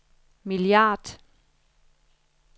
milliard